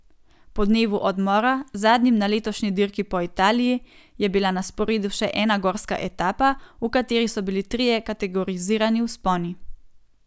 Po dnevu odmora, zadnjim na letošnji dirki po Italiji, je bila na sporedu še ena gorska etapa, v kateri so bili trije kategorizirani vzponi.